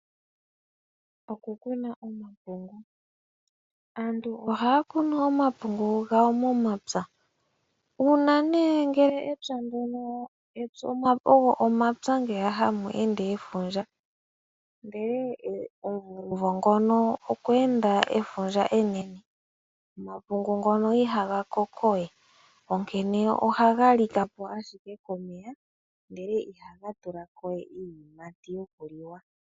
Oku kuna omapungu . Aantu ohaa kunu omapungu gayo momapya. Uuna nee ngele empya ndyono ,ogo omapya ngeya hamu ende efundja ,ndele omumvo ngono okweende efundja enene, omapungu ngono ihaga koko we . Onkene ohaga likapo ashike komeya ndele ihaga tulako ye iiyimati yokuliwa .